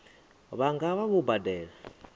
vha nga vha vho badela